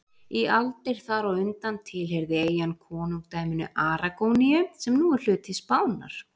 Í aldir þar á undan tilheyrði eyjan konungdæminu Aragóníu sem nú er hluti Spánar.